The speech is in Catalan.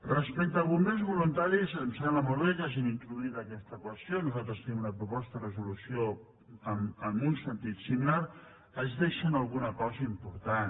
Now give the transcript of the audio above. respecte als bombers voluntaris em sembla molt bé que hagin introduït aquesta qüestió nosaltres tenim una proposta de resolució en un sentit similar es deixen alguna cosa important